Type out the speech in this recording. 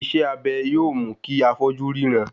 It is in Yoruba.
Iṣẹ́ abẹ yóò mú kí afọ́jú ríran